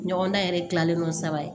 Ɲɔgɔn dan yɛrɛ kilalen kɔ saba ye